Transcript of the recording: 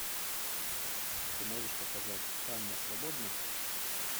ты можешь показать ханна свободна